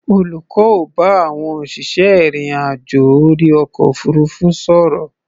Olùkọ́ ń bá àwọn òṣìṣẹ́ ìrìn-àjò orí ọkọ̀ òfuurufú sọ̀rọ̀.